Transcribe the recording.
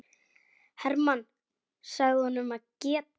Hermann sagði honum að geta.